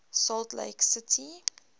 salt lake city